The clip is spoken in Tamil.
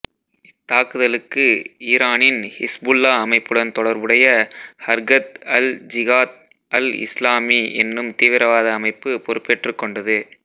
இத்தாக்குதலுக்கு ஈரானின் ஹிஸ்புல்லா அமைப்புடன் தொடர்புடைய ஹர்கத் அல் ஜிகாத் அல் இஸ்லாமி எனும் தீவிரவாத அமைப்பு பொறுப்பேற்றுக் கொண்டது